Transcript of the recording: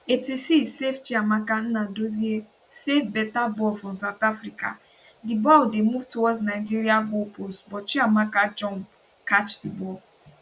86savechiamaka nnadozie save beta ball from south africa di ball dey move towards nigeria goalpost but chiamaka jump catch di ball